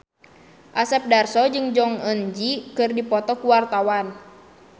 Asep Darso jeung Jong Eun Ji keur dipoto ku wartawan